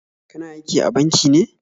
Kana aiki a banki ne?